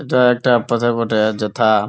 এটা একটা পাতা বটে যথা-আ --